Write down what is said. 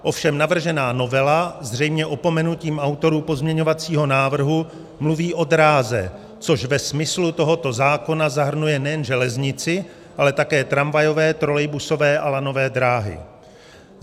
Ovšem navržená novela zřejmě opomenutím autorů pozměňovacího návrhu mluví o dráze, což ve smyslu tohoto zákona zahrnuje nejen železnici, ale také tramvajové, trolejbusové a lanové dráhy.